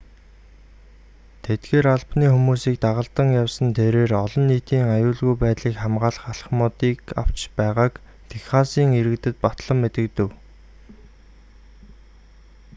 тэдгээр албаны хүмүүсийг дагалдан явсан тэрээр олон нийтийн аюулгүй байдлыг хамгаалах алхмуудыг авч байгааг техасын иргэдэд батлан мэдэгдэв